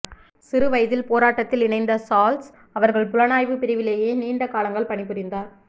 சிறு வயதில் போராட்டத்தில் இணைந்த சாள்ஸ் அவர்கள் புலனாய்வுப்பிரிவிலேயே நீண்ட காலங்கள் பணிபுரிந்தார்